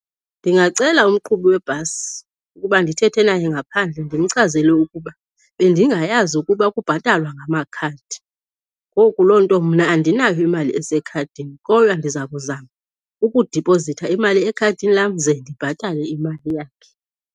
Ndingacela umqhubi webhasi ukuba ndithethe naye ngaphandle ndimchazele ukuba bendingayazi ukuba kubhatalwa ngamakhadi, ngoku loo nto mna andinayo imali esekhadini kodwa ndiza kuzama ukudipozitha imali ekhadini lam ze ndibhatale imali yakhe.